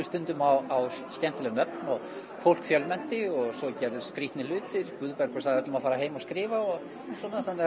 stundum á skemmtileg nöfn og fólk fjölmennti og svo gerðust skrítnir hlutir Guðbergur sagði öllum að fara heim að skrifa og svona þannig að